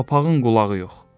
Papağın qulağı yox.